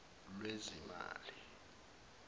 lwezimali